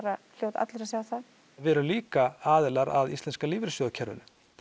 hljóta allir að sjá það við erum líka aðilar að íslenska lífeyrissjóðakerfinu